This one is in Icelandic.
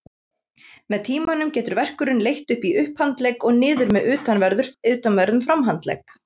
Með tímanum getur verkurinn leitt upp í upphandlegg og niður með utanverðum framhandlegg.